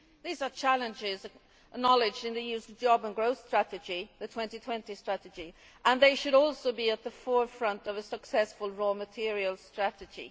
These are challenges acknowledged in the EU's jobs and growth strategy, the 2020 Strategy, and they should also be at the forefront of a successful raw materials strategy.